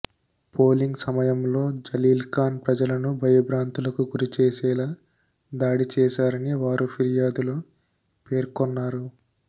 polling సమయంలో జలీల్ఖాన్ ప్రజలను భయాబ్రాంతులకు గురి చేసేలా దాడి చేశారని వారు ఫిర్యాదులో పేర్కొన్నారు